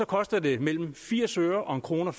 koster den mellem firs øre og en kroner